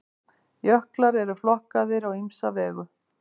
Jöklar eru flokkaðir á ýmsa vegu.